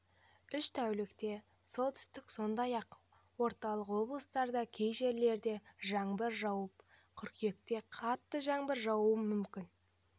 үш тәулікте солтүстік сондай-ақ орталық облыстарда кей жерлерде жаңбыр жауады қыркүйекте қатты жаңбыр жаууы мүмкін